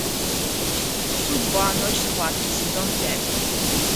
судьба ночь схватки сезон пять